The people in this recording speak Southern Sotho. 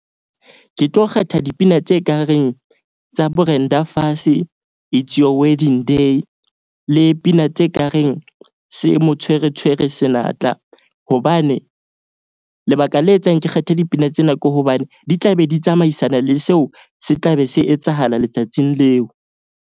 Ke tlo kgetha dipina tse kareng tsa Brenda Fassie, It's your wedding day le pina tse kareng se mo tshwere tshwere senatla. Hobane lebaka le etsang ke kgetha dipina tsena ke hobane di tla be di tsamaisana le seo, se tla be se etsahala letsatsing leo.